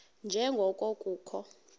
nje ngoko kukho